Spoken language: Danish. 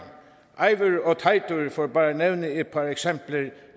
eivør og teitur for bare at nævne et par eksempler